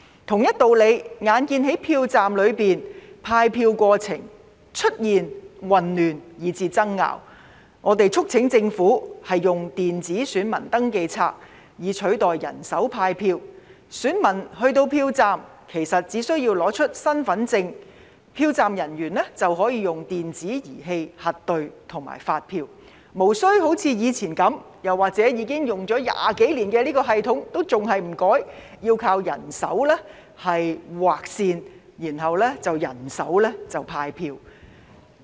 同一道理，眼見在票站內派票過程出現混亂以至爭拗，我們促請政府使用電子選民登記冊以取代人手派票，選民去到票站，只要出示身份證明文件，票站人員便可以使用電子儀器核對和發出選票，無須像以往般以人手操作，又或者已使用20多年的這個系統仍然不變，要靠人手在紙本上劃線和人手派票。